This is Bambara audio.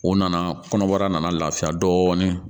U nana kɔnɔbara nana lafiya dɔɔnin